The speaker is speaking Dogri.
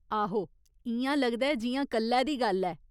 आहो, इ'यां लगदा ऐ जि'यां कल्लै दी गल्ल ऐ।